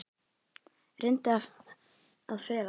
Reyndi að fela það.